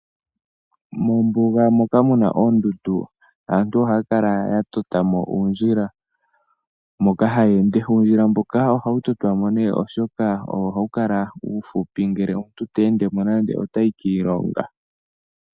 Mombuga moka muna oondundu aantu ohaya kala ya tota mo uundjila. Moka haya ende. Uundjila mboka ohawu totwa monee oshoka owo hawu kala uufupi nande ngele omuntu te ende mo nande otayi kiilongo.